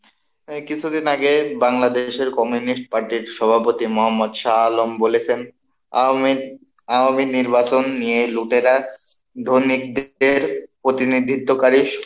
কিছুদিন আগে বাংলাদেশের কমিউনিস্ট পার্টির সভাপতি মহম্মদ শাহ আলম বলেছেন আওয়ামী নির্বাচন নিয়ে লুটেরাদের প্রতিনিধিত্বকারী,